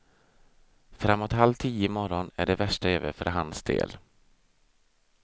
Framåt halv tio i morgon är det värsta över för hans del.